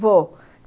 Vou.